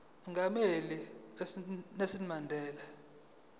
umongameli unelson mandela